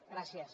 gràcies